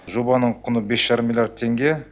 жобаның құны бес жарым миллиард теңге